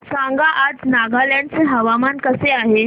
सांगा आज नागालँड चे हवामान कसे आहे